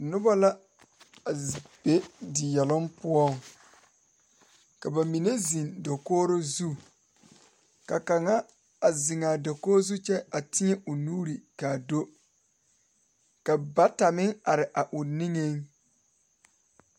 Dɔɔba ne pɔgeba la toɔ a pegle orobaare ka teere yigaa are a ba nimitɔɔre ka bamine su kpare ziiri ka bamine meŋ su kpare sɔglɔ ka bamine meŋ a do kyɛ te a orobaare taa.